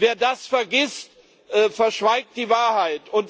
Wer das vergisst, verschweigt die Wahrheit.